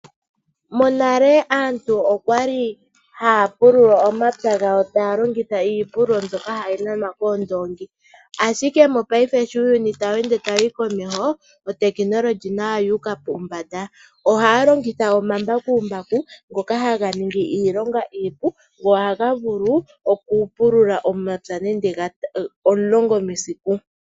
Morale aantj okwali haya puluka omapya gawo taya longitha iipulilo mbyoka tayi nanwa koondongi ashike mopaife uuyuni sho tawu ende wuuka komesho. Ohaya longitha omambakumbaku ngoka haga ningi iilonga iipu go ohaga vulu okupulula nande omapya omulongo mesiku.